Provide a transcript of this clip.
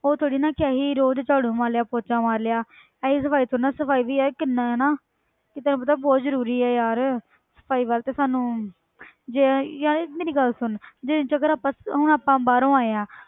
ਉਹ ਥੋੜ੍ਹੀ ਨਾ ਕਿ ਅਸੀਂ ਰੋਜ਼ ਝਾੜੂ ਮਾਰ ਲਿਆ ਪੋਚਾ ਮਾਰ ਲਿਆ ਇਹ ਜਿਹੀ ਸਫ਼ਾਈ ਕਰੋ ਨਾ ਸਫ਼ਾਈ ਵੀ ਯਾਰ ਕਿੰਨੇ ਨੇ ਕਿ ਤੈਨੂੰ ਪਤਾ ਬਹੁਤ ਜ਼ਰੂਰੀ ਹੈ ਯਾਰ ਸਫ਼ਾਈ ਵੱਲ ਤੇ ਸਾਨੂੰ ਜੇ ਯਾਰ ਮੇਰੀ ਗੱਲ ਸੁਣ ਜੇ ਜੇਕਰ ਆਪਾਂ ਹੁਣ ਆਪਾਂ ਬਾਹਰੋਂ ਆਏ ਹਾਂ।